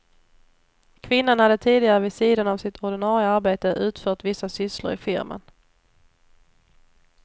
Kvinnan hade tidigare vid sidan av sitt ordinarie arbete utfört vissa sysslor i firman.